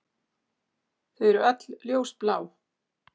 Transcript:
Þau eru öll ljósblá.